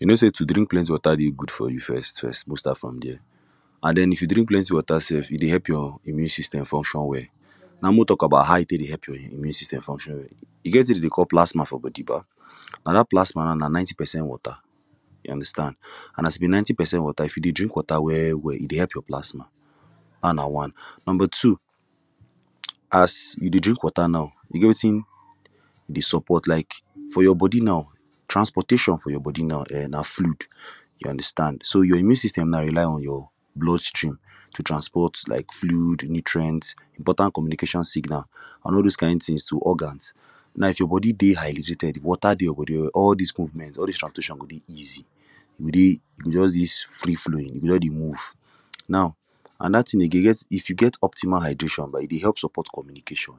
You know say to drink plenty wata dey good for you first first mek we start from there an then if you drink plenty wata sef e dey help your immune system function well now mek we tok about how e tek dey help your immune system function well e get wetin dem dey call plasma for body ba now that plasma na ninety percent wata you understand an as e be ninety percent wata if you dey drink wata well well e dey help your plasma dat na one number two as you dey drink wata now e get wetin e dey support like for your body now transportation for your body now um na fluid you understand so your immune system now rely on your blood stream to transport like fluid nutrients important communication signal an all those kind tins to organs now if your body dey hydrated wata dey your body well well all dis movement all dis transportation go dey easy e go dey e go just dey free flowing e go just dey move now anoda tin again you get if you get optimal hydration e dey help support communication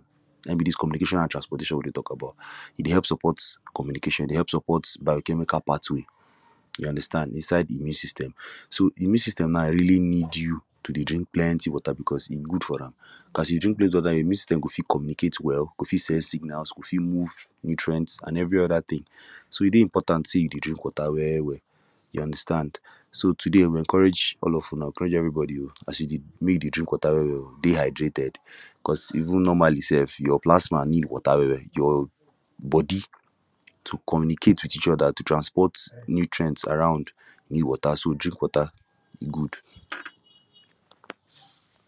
na him be dis communication an transportation we dey tok about e dey help support communication e dey help support biochemical pathway you understand inside de immune system so de immune system now really need you to dey drink plenty wata becos e good for am as you drink plenty wata your immune system go fit communicate well go fit send signals go fit move nutrients an every oda tin so e dey important say you dey drink wata well well you understand so today we encourage all of Una pressure everybody oo as in mek e dey drink wata well well oo dey hydrated becus even normally sef your plasma need wata well well your body to communicate with each oda to transport nutrients around de wata so drink wata e good